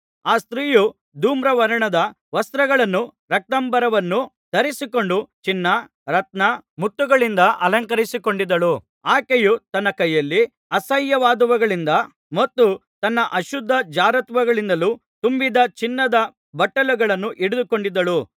ಆ ಸ್ತ್ರೀಯು ಧೂಮ್ರವರ್ಣದ ವಸ್ತ್ರಗಳನ್ನೂ ರಕ್ತಾಂಬರವನ್ನೂ ಧರಿಸಿಕೊಂಡು ಚಿನ್ನ ರತ್ನ ಮುತ್ತುಗಳಿಂದ ಅಲಂಕರಿಸಿಕೊಂಡಿದ್ದಳು ಆಕೆಯು ತನ್ನ ಕೈಯಲ್ಲಿ ಅಸಹ್ಯವಾದವುಗಳಿಂದಲೂ ಮತ್ತು ತನ್ನ ಅಶುದ್ಧ ಜಾರತ್ವಗಳಿಂದಲೂ ತುಂಬಿದ ಚಿನ್ನದ ಬಟ್ಟಲನ್ನು ಹಿಡಿದುಕೊಂಡಿದ್ದಳು